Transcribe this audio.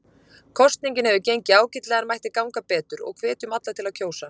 Kosningin hefur gengið ágætlega en mætti ganga betur og hvetjum við alla til að kjósa.